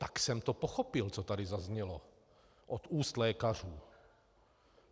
Tak jsem to pochopil, co tady zaznělo od úst lékařů.